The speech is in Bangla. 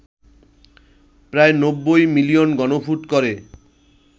প্রায় ৯০ মিলিয়ন ঘনফুট করে